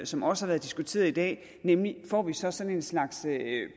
som også har været diskuteret i dag nemlig får vi så sådan en slags